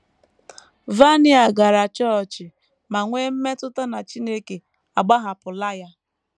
Vania gara chọọchị ma nwee mmetụta na Chineke agbahapụla ya.